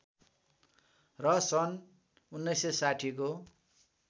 र सन् १९६० को